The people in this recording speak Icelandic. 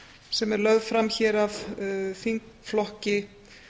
sem er lögð fram hér af þingflokki